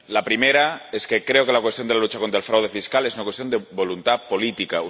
La primera es que creo que la cuestión de la lucha contra el fraude fiscal es una cuestión de voluntad política.